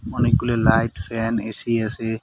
অনেকগুলো light fan AC আসে।